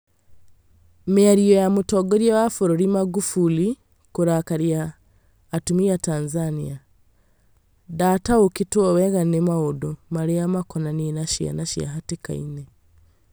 Mĩario ya Mũtongoria wa bũrũri Magufuli kũrakaria atumia Tanzania " ndataũkĩtwo wega nĩ maũndũ, marĩa makonainie na ciana ciĩ hatĩka-inĩ